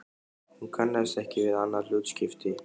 Hún kannaðist ekki við annað hlutskipti.